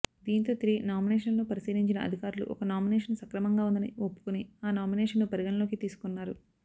దీంతో తిరిగి నామినేషన్లను పరిశీలించిన అధికారులు ఒక నామినేషన్ సక్రమంగా ఉందని ఒప్పుకొని ఆ నామినేషన్ను పరిగణనలోకి తీసుకున్నారు